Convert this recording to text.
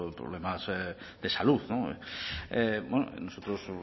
problemas de salud nosotros